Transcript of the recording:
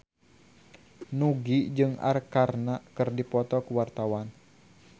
Nugie jeung Arkarna keur dipoto ku wartawan